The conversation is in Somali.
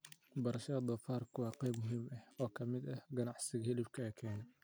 Beerashada doofaarku waa qayb muhiim ah oo ka mid ah ka ganacsiga hilibka ee Kenya.